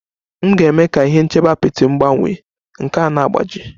M ga-eme ka ihe nchebe apịtị m gbanwee, nke a na-agbaji